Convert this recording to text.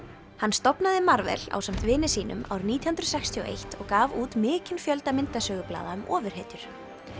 hann stofnaði ásamt vini sínum árið nítján hundruð sextíu og eitt og gaf út mikinn fjölda myndasögublaða um ofurhetjur